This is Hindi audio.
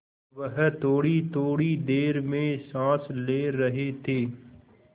वह थोड़ीथोड़ी देर में साँस ले रहे थे